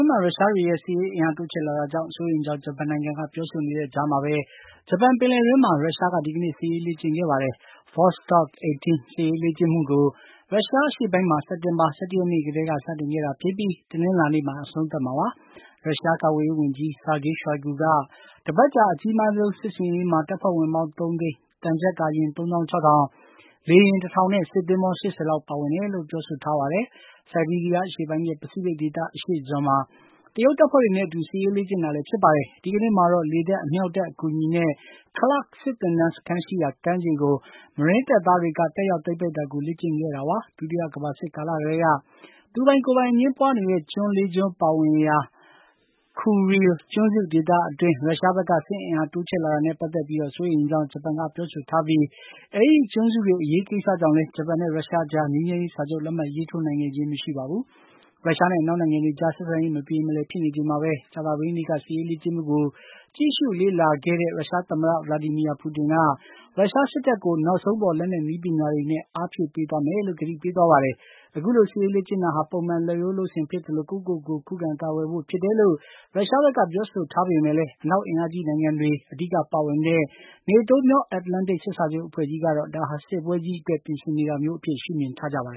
းမှာ ရုရှားတွေရဲ့ စစ်ရေးအင်အားတိုးချဲ့လာတာကြောင့် စိုးရိမ်ကြောင်း ဂျပန်နိုင်ငံက ပြောဆိုနေတဲ့ကြားမှာပဲ ဂျပန်ပင်လယ်အတွင်းမှာ ရုရှားက ဒီကနေ့ စစ်ရေးလေ့ကျင့်ခဲ့ပါတယ်။ Vostok 18 စစ်ရေးလေ့ကျင့်မှုကို ရုရှားအရှေ့ပိုင်းမှာ စက်တင်္ဘာလ ၁၁ ရက်နေ့ ကတည်းက စတင်ခဲ့တာဖြစ်ပြီး တနင်းလာနေ့မှာ အဆုံး သတ်မှာပါ။ ရုရှား ကာကွယ်ရေး ဝန်ကြီး Sergei Shoigu က တပါတ်ကြာ အကြီးမားဆုံး စစ်ဆင်ရေးမှာ တပ်ဖွဲ့ဝင်ပေါင်း ၃ သိန်း၊ သံချပ်ကာယာဉ် ၃၆၀၀၀၊ လေယာဉ် ၁၀၀၀ နဲ့ စစ်သင်္ဘော ၈၀ လောက် ပါဝင်တယ်လို့ ပြောထားတာပါ။ ဆိုက်ဘီးရီးယား အရှေ့ပိုင်းနဲ့ ပစိတ်ဖိတ် ဒေသ အရှေ့စွန်မှာ တရုတ်တပ်ဖွဲ့တွေနဲ့ အတူ စစ်ရေးလေ့ကျင့်တာလည်း ဖြစ်ပါတယ်။ ဒီကနေ့မှာတော့ လေတပ်၊ အမြှောက်တပ် အကူအညီနဲ့ Klerk စစ်သင်တန်းစခန်းရှိရာ ကမ်းခြေကို မရင်းတပ်သားတွေက တက်ရောက် သိမ်းပိုက်တာကို လေ့ကျင့်ခဲ့တာပါ။ ဒုတိယကမ္ဘာစစ်ကာလကတည်းက သူပိုင်ကိုယ်ပိုင်အငြင်းပွါးနေတဲ့ ကျွန်း ၄ ကျွန်းပါဝင်ရာ Kuril ကျွန်းစု ဒေသအတွင်း ရုရှားဘက်က စစ်အင်အား တိုးချဲ့လာတာနဲ့ ပတ်သက်ပြီး စိုးရိမ်ကြောင်း ဂျပန်က ပြောဆိုထားပြီး အဲဒီကျွန်းစုတွေအရေးကိစ္စကြောင့်လည်း ဂျပန်နဲ့ ရုရှားအကြား ငြိမ်းချမ်းရေးစာချုပ် လက်မှတ်ရေးထိုးနိုင်ခဲ့ခြင်း မရှိပါဘူး။ ရုရှားနဲ့ အနောက်နိုင်ငံတွေကြား ဆက်ဆံရေးမပြေမလည်ဖြစ်နေချိန်မှာပဲ ကြာသပတေးနေ့က စစ်ရေးလေ့ကျင့်မှုကို ကြည့်ရှုလေ့လာခဲ့တဲ့ ရုရှားသမ္မတ Vladimir Putin က ရုရှားစစ်တပ်ကို နောက်ဆုံးပေါ် လက်နက် နည်းပညာတွေနဲ့ အားဖြည့်ပေးသွားမယ်လို့ ကတိပေးသွားပါတယ်။ အခုလိုစစ်ရေးလေ့ကျင့်တာဟာ ပုံမှန်လုပ်ရိုးလုပ်စဉ်ဖြစ်သလို ကိုယ့်ကိုယ်ကိုယ် ခုခံကာကွယ်ဖို့ ဖြစ်တယ်လို့ ရုရှားဘက်က ပြောဆိုထားပေမယ့်လည်း အနောက်အင်အားကြီး နိုင်ငံတွေ အဓိက ပါဝင်တဲ့ NATO မြောက်အတ္တလန်တိတ် စစ်စာချုပ်အဖွဲ့ကြီးကတော့ ဒါဟာ စစ်ပွဲကြီးအတွက် ပြင်ဆင်နေတာမျိုးအဖြစ် ရှုမြင်ကြပါတ